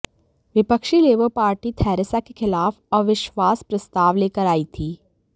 विपक्षी Labour Party Theresa के खिलाफ अविश्वास प्रस्ताव लेकर आई थी